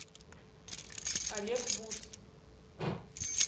олег бут